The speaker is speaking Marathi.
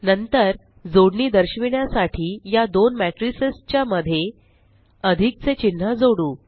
नंतर जोडणी दर्शविण्यासाठी या दोन मेट्रिसस च्या मध्ये अधिक चे चिन्ह जोडू